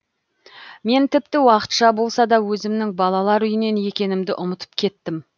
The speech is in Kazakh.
мен тіпті уақытша болса да өзімнің балалар үйінен екенімді ұмытып кеттім